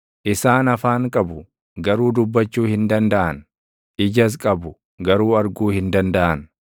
Isaan afaan qabu; garuu dubbachuu hin dandaʼan; ijas qabu; garuu arguu hin dandaʼan;